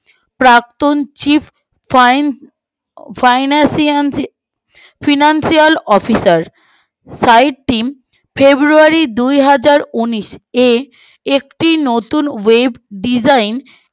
প্রাক্তন chief fine financial financial officer february দুহাজার উনিশ এ একটি নতুন web design